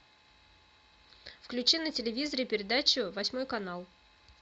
включи на телевизоре передачу восьмой канал